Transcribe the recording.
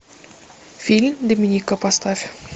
фильм доминика поставь